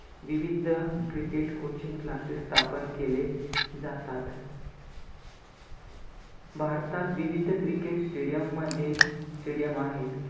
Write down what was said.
विविध cricket coaching class स्थापन केले जातात. भारतात विविध cricket stadium मध्ये stadium आहेत.